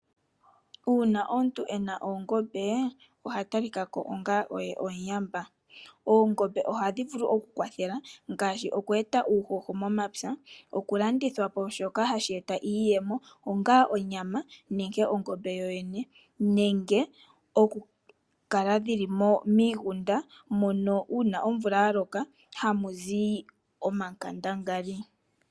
Uuna omuntu ena oongombe oha talika ko onga omuyamba. Oongombe ohadhi vulu okukwathela ngaashi okweeta uuhoho momapya, okulandithwa po shoka hashi eta iiyemo onga onyama nenge ongombe yoyene nenge okukala dhili miigunda mono uuna omvula yaloka hamuzi omankandangali.